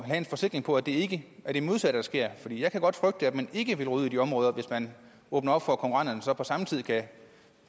have en forsikring for at det ikke er det modsatte der sker for jeg kan godt frygte at man ikke vil ud i de områder hvis man åbner for at konkurrenterne samtidig